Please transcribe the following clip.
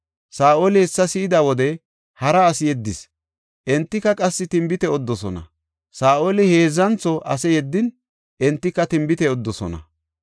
Saa7oli hessa si7ida wode hara asi yeddis; entika qassi tinbite odidosona. Saa7oli heedzantho ase yeddin entika tinbite odidosona.